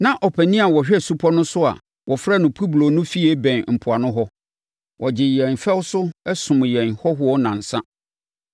Na ɔpanin a ɔhwɛ supɔ no so a wɔfrɛ no Publio no fie bɛn mpoano hɔ; ɔgyee yɛn fɛw so, somm yɛn hɔhoɔ nnansa.